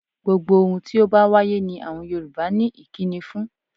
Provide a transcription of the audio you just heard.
Gbogbo ohun tí ó bá wáyé ni àwọn Yorùbá ní ìkíni fún.